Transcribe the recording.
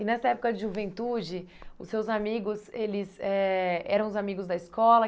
E nessa época de juventude, os seus amigos, eles eh eram os amigos da escola?